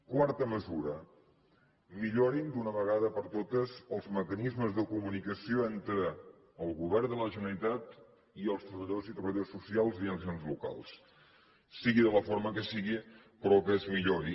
quarta mesura millorin d’una vegada per totes els mecanismes de comunicació entre el govern de la generalitat i els treballadors i treballadores socials i els ens locals sigui de la forma que sigui però que es millori